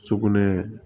Sugunɛ